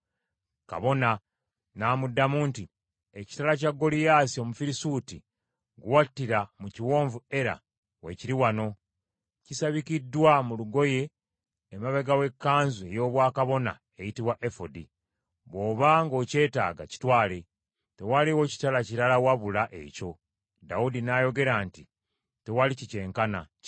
Kabona n’amuddamu nti, “Ekitala kya Goliyaasi Omufirisuuti gwe wattira mu kiwonvu Era, weekiri wano; kisabikiddwa mu lugoye emabega w’ekkanzu ey’obwakabona eyitibwa efodi. Bw’oba ng’okyetaaga, kitwale. Tewaliwo kitala kirala wabula ekyo.” Dawudi n’ayogera nti, “Tewali kikyenkana; kimpe.”